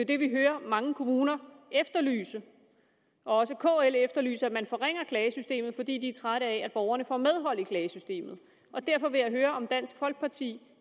det vi hører mange kommuner efterlyse og også kl efterlyser at man forringer klagesystemet fordi de er trætte af at borgerne får medhold i klagesystemet derfor vil jeg høre om dansk folkeparti